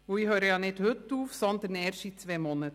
Denn ich höre nicht heute auf, sondern erst in zwei Monaten.